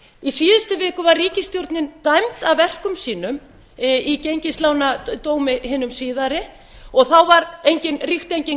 í síðustu viku var ríkisstjórnin dæmd af verkum sínum í gengislánadómi hinum síðari og þá ríkti engin